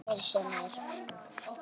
Heimir: Sem er?